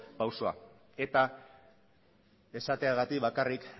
pausoa eta esateagatik bakarrik